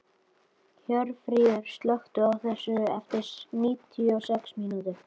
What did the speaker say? Hjörfríður, slökktu á þessu eftir níutíu og sex mínútur.